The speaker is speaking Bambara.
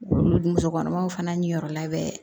Muso kɔnɔmaw fana ni yɔrɔ labɛn